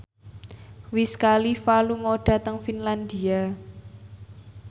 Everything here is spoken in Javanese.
Wiz Khalifa lunga dhateng Finlandia